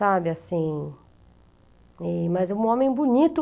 Sabe, assim, e mas é um homem bonito.